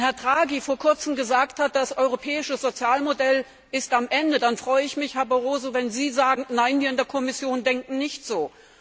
Wenn Herr Draghi vor kurzem gesagt hat, das Europäische Sozialmodell ist am Ende, dann freue ich mich, Herr Barroso, wenn Sie sagen, Nein, wir in der Kommission denken nicht so.